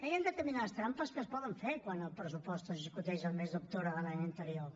hi han determinades trampes que es poden fer quan el pressupost es discuteix el mes d’octubre de l’any anterior